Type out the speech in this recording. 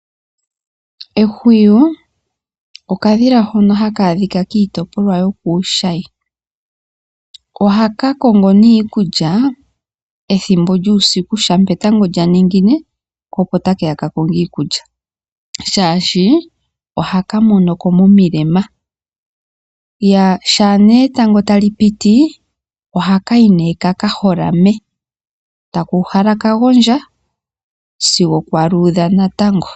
Ehwiyu okadhila hono haka adhika kiitopolwa yokuushayi. Ohaka kongo nduno iikulya ethimbo lyuusiku shampa etango lya ningine, ko opo take ya ka konge iikulya, oshoka ohaka mono ko momilema. Uuna etango tali piti ohaka yi nduno ka ka holame, taka uhala ka gondja sigo kwa luudha natango.